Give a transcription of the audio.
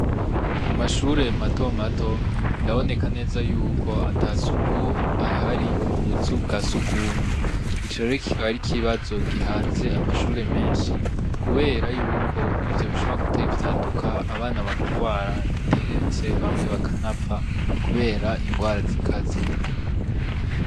Mu mashure mato mato biraboneka neza yuko ata suku rihari mu buzu bwa sugumwe, ico rero kikaba ari ikibazo gihanze amashure menshi, kubera yuko ivyo bishobora gutera ivyaduka abana bakagwara, ndetse bamwe bakanapfa kubera ingwara zikaze.